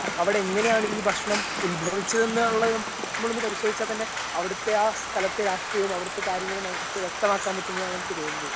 അവിടെങ്ങനെയാണ് ഈ ഭക്ഷണം ഉത്ഭവിച്ചതെന്നുള്ളതും നമ്മളൊന്ന് പരിശോധിച്ചാൽ തന്നെ അവിടുത്തെ ആ സ്ഥലത്തെ രാഷ്ട്രീയവും അവിടുത്തെ കാര്യങ്ങളും നമുക്ക് വ്യക്തമാക്കാൻ പറ്റുംന്നാണെനിക്ക് തോന്നുന്നത്.